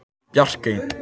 Bjarkey